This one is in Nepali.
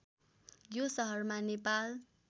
यो सहरमा नेपाल